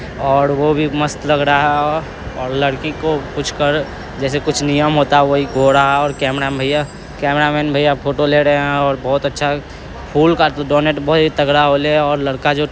और वो भी मस्त लग रहा है और लड़की को कुछ कर जैसे कुछ नियम होता हे वोही गोरह ओर कैमरा भईया कैमरामेन भैया फोटो ले रहे हे ओर बहुत अच्छा फूल का डोनैट भाई तगड़ा होले ओर लड़का जो--